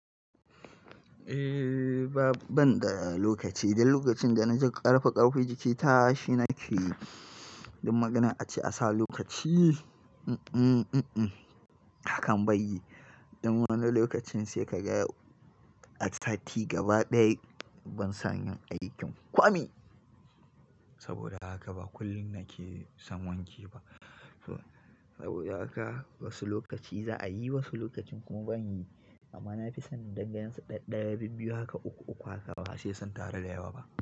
Ehh, ba ban da lokaci. Dan lokacin da na ji ƙarfe ƙarfe jiki tashi nake yi, dan maganan ace "a sa lokaci akan bayi". Dan wannan lokacin sai ka ga a sati gaba ɗaya ban san yin aikin kwami. Saboda haka ba kullum nake son wanke ba. Saboda haka wasu lokaci za a yi, wasu lokacin kuma ban yi. Amma na fi son danga yen su ɗaɗɗaya bibbiyu haka uku uku haka ba sai son tara da yawa ba.